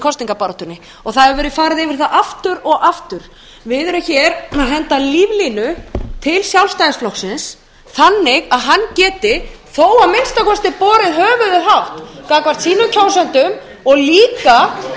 kosningabaráttunni og það hefur verið farið yfir það aftur og aftur við erum hér að henda líflínu til sjálfstæðisflokksins þannig að hann geti þó að minnsta kosti borið höfuðið hátt gagnvart sínum kjósendum og líka gagnvart því ég held að þingmenn sjálfstæðisflokksins ættu ekki að